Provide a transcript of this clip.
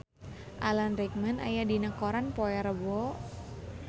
Alan Rickman aya dina koran poe Rebo